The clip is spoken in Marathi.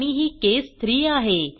आणि ही केस 3 आहे